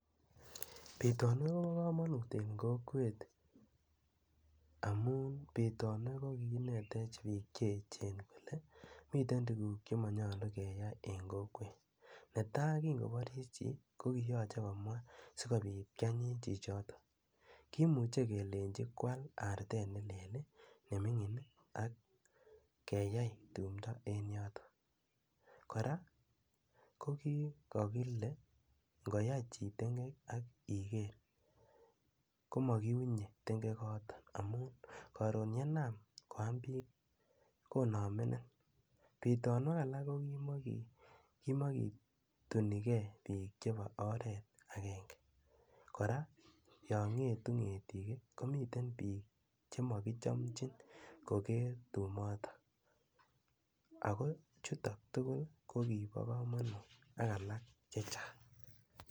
Pitani ko pa kamanut en kokwet amun pitani ko kiinetech piikc che echen kole miten tuguk che manayalu keyai en kokwet. Ne tai kingoparchi chi ko kiyache komwa si kopiit kianyiny chichotok. Kimuchi kelechi koal artet ne lel ne mining' ak keyai tumdo en yotok. Kora ko kikakile ngoyai chi tengek ak iker ko makiunye tengokotok amu karon ye nam koa piik, konamenin. Pitanwek alak ko ki makituni gei piil chepo oret agenge. Kora yang'etu ng'etik ko miten piik che makichamchin koker tumotok. Ako chutok tugul ko kipa kamanut ak alak che chang'.